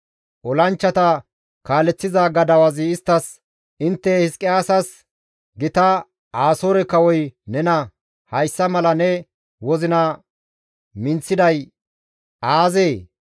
Olanchchata kaaleththiza gadawazi isttas, «Intte Hizqiyaasas, ‹Gita Asoore kawoy nena, hayssa mala ne wozina minththiday aazee?